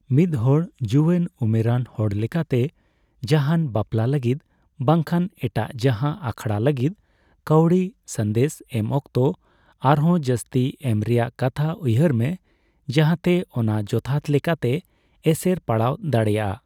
ᱢᱤᱫᱦᱚᱲ ᱡᱩᱭᱟᱹᱱ ᱩᱢᱮᱨᱟᱱ ᱦᱚᱲ ᱞᱮᱠᱟᱛᱮ ᱡᱟᱦᱟᱸᱱ ᱵᱟᱯᱽᱞᱟ ᱞᱟᱹᱜᱤᱫ ᱵᱟᱝᱠᱷᱟᱱ ᱮᱴᱟᱜ ᱡᱟᱦᱟᱸ ᱟᱠᱷᱲᱟ ᱞᱟᱹᱜᱤᱫ ᱠᱟᱹᱣᱰᱤ ᱥᱟᱸᱫᱮᱥ ᱮᱢ ᱚᱠᱛᱚ, ᱟᱨᱦᱚᱸ ᱡᱟᱹᱥᱛᱤ ᱮᱢ ᱨᱮᱭᱟᱜ ᱠᱟᱛᱷᱟ ᱩᱭᱦᱟᱹᱨ ᱢᱮ ᱡᱟᱦᱟᱛᱮ ᱚᱱᱟ ᱡᱚᱛᱷᱟᱛ ᱞᱮᱠᱟᱛᱮ ᱮᱥᱮᱨ ᱯᱟᱲᱟᱣ ᱫᱟᱲᱮᱭᱟᱜᱼᱟ ᱾